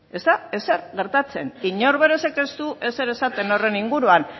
ez da ezer gertatzen inorrek ez du ezer esaten horren inguruan